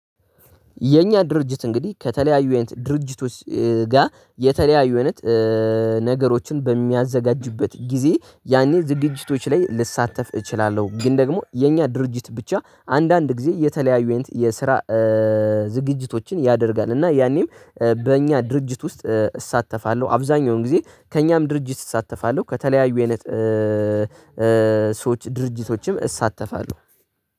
የኛ ድርጅት እንግዲህ ከተለያዩ አይነት ድርጅቶች ጋ የተለያዩ አይነት ነገሮችን በሚያዘጋጅበት ጊዜ ያኔ ዝግጅቶች ላይ ልሳተፍ እችላለሁ፤ ግን ደግሞ የኛ ድርጅት ብቻ አንዳንድ ጊዜ የተለያዩ አይነት የስራ እ ዝግጅቶችን ያደርጋል፤ እና ያኔም በእኛ ድርጅት ውስጥ እሳተፋለሁ። አብዛኛውን ጊዜ ከእኛም ድርጅት እሳተፋለሁ። ከተለያዩ አይነት እ- እ፣ ሰዎች ድርጅቶችም እሳተፋለሁ።